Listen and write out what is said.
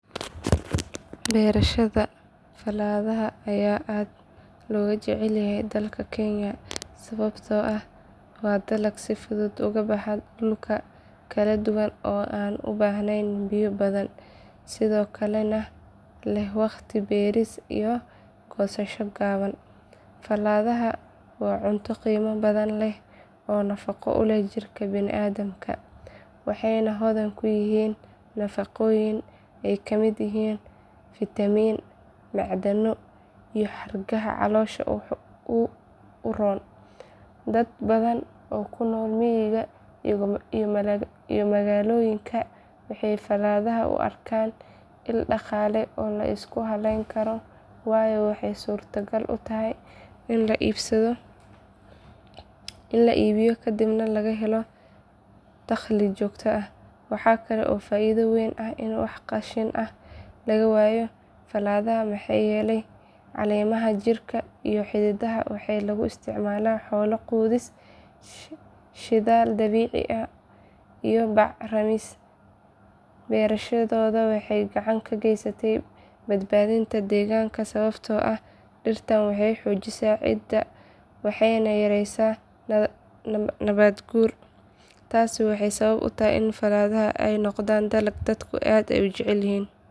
Beerashada falaadhaha ayaa aad looga jecel yahay dalka kenya sababtoo ah waa dalag si fudud ugu baxa dhul kala duwan oo aan u baahnayn biyo badan sidoo kalena leh waqti beeris iyo goosasho gaaban. Falaadhaha waa cunto qiimo badan leh oo nafaqo u leh jirka bini'aadamka waxayna hodan ku yihiin nafaqooyin ay ka mid yihiin fitamiin, macdano iyo xargaha caloosha u roon. Dad badan oo ku nool miyiga iyo magaalooyinka waxay falaadhaha u arkaan il dhaqaale oo la isku halleyn karo waayo waxay suurtogal u tahay in la iibiyo kadibna laga helo dakhli joogto ah. Waxa kale oo faa'iido weyn ah in wax qashin ah laga waayo falaadhaha maxaa yeelay caleemaha, jirida iyo xididdada waxaa lagu isticmaalaa xoolo quudis, shidaal dabiici ah iyo bac rimis. Beerashadoodu waxay gacan ka geysaneysaa badbaadinta deegaanka sababtoo ah dhirtan waxay xoojisaa ciidda waxayna yareysaa nabaad guurka. Taasi waxay sabab u tahay in falaadhaha ay noqdaan dalag dadku aad u jecel yihiin.